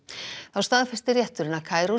þá staðfesti rétturinn að